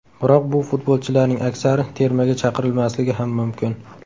Biroq bu futbolchilarning aksari termaga chaqirilmasligi ham mumkin.